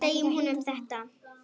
Segja honum þetta?